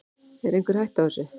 Er einhver hætta á þessu?